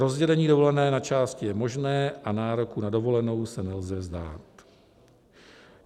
Rozdělení dovolené na části je možné a nároku na dovolenou se nelze vzdát.